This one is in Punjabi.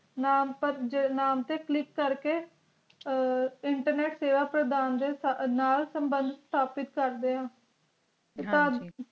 `ਨਾਮੁ ਪੈਟ ਨਾਮੁ ਤੇ click ਕਰ ਕੇ internet ਸੇਵਾ ਪ੍ਰਦਾਨ ਦੇ ਸੰਬੰਧ ਸਪਿਤ ਕਰਦਿਆ ਹਨ ਜੀ